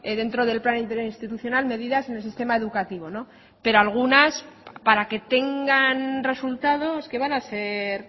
dentro del plan interinstitucional medidas en el sistema educativo pero algunas para que tengan resultados que van a ser